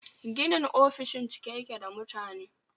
Ginin ofishin cike yake da mutane